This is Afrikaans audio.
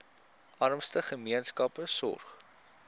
armste gemeenskappe sorg